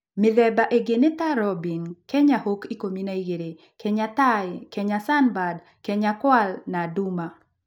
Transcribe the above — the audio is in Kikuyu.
Mĩthemba ĩngĩ nĩ ta Robin, Kenya Hawk 12, Kenya Tai, Kenya Sunbird, Kenya Kwal na Du ma